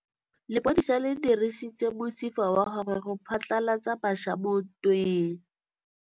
Lepodisa le dirisitse mosifa wa gagwe go phatlalatsa batšha mo ntweng.